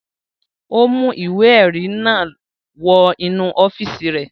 Ó mú ìwé-ẹ̀rí náà wọ inú ọ́fíísì rẹ̀.